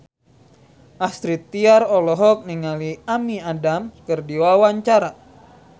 Astrid Tiar olohok ningali Amy Adams keur diwawancara